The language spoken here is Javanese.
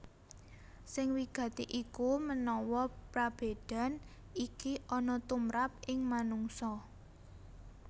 Sing wigati iku menawa prabédan iki ana tumrap ing manungsa